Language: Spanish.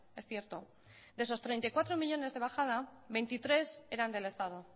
es cierto de esos treinta y cuatro millónes de bajada veintitrés eran del estado